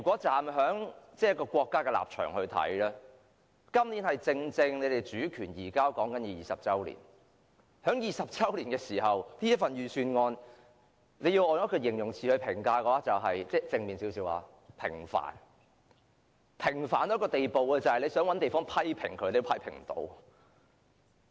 站在國家的立場，今年正正是香港主權移交20周年，在20周年的時刻，用一個稍為正面的形容詞來評價這份預算案，是平凡，平凡至一個無法批評的地步。